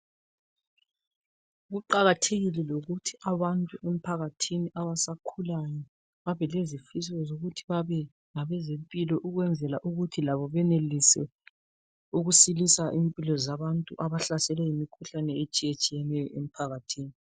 Kuqakathekile lokuthi abantu emphakathini abasakhulayo babe lezifiso zokuthi babe ngabezempilo ukwenzela ukuthi labo benelise ukusilisa impilo zabantu abahlaselwe yimkhuhlane etshiye tshiyeneyo emphakathini .